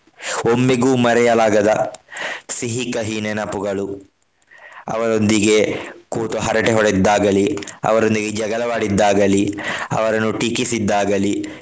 ಒಮ್ಮೆಗೂ ಮರೆಯಲಾಗದ ಸಿಹಿ ಕಹಿ ನೆನಪುಗಳು ಅವರೊಂದಿಗೆ ಕೂತು ಹರಟೆ ಹೊಡೆದಿದ್ದಾಗಲಿ ಅವರೊಂದಿಗೆ ಜಗಳವಾಡಿದ್ದಾಗಲಿ ಅವರನ್ನು ಟೀಕಿಸಿಗಿದ್ದಾಗಲಿ.